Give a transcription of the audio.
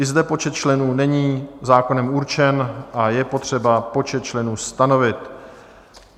I zde počet členů není zákonem určen a je potřeba počet členů stanovit.